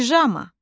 Pijama.